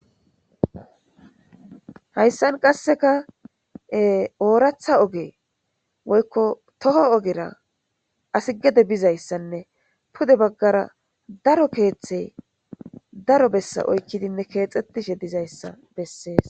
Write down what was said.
Hayissani qasseka oratha ogge woyiko toho oggera assi gede bidaysanne pude baggara darro kethayi darro bessa oyiki utidesi